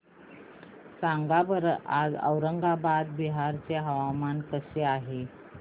सांगा बरं आज औरंगाबाद बिहार चे हवामान कसे आहे